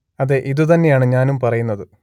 അതെ ഇതു തന്നെയാണ് ഞാനും പറയുന്നത്